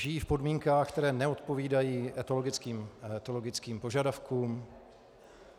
Žijí v podmínkách, které neodpovídají etologickým požadavkům?